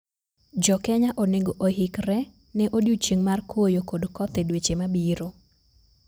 JoKenya onego oikre ne odiochieng mar koyo kod koth e dweche mabiro.